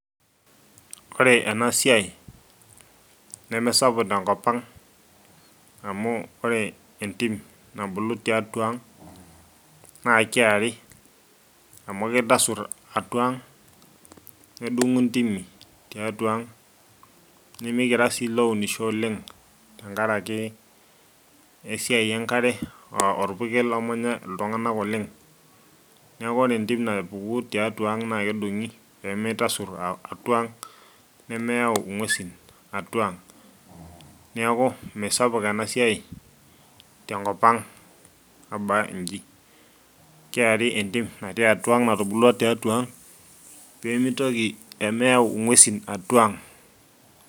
ore ena siai nemesapuk tenkop ang amu ore entim nabulu tiatua ang naa kiari amu kitasurr atua ang nedung'u intimi tiatua ang nimikira sii ilounisho oleng tenkaraki esiai enkare uh orpurkel omanya iltung'anak oleng neeku ore entim napuku tiatua ang naa kedung'i pemitasurr a atua ang nemeyau ing'uesin atua ang niaku misapuk enasiai tenkop aba inji keari entim natii atua ang natubulua tiatua ang pemitoki, pemeyau ing'uesin atua ang.